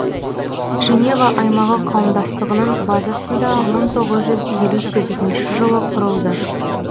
женева аймағы қауымдастығының базасында мың тоғыз жүз елу сегізінші жылы құрылды